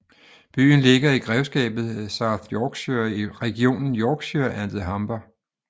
Byen ligger i grevskabet South Yorkshire i regionen Yorkshire and the Humber